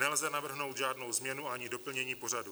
Nelze navrhnout žádnou změnu ani doplnění pořadu.